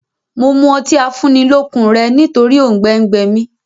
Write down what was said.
Mo mú ọtí afúnnilọ́kun rẹ nítòrì oùngbẹ gbẹ mí